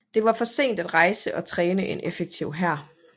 Det var for sent at rejse og træne en effektiv hær